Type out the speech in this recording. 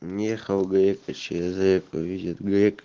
ехал грека через реку видит грека